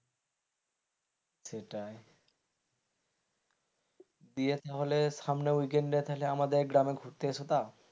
সেটাই দিয়ে তাহলে সামনের weekend তাহলে আমাদের গ্রামে ঘুরতে এস তা.